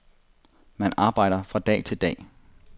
Man arbejder fra dag til dag.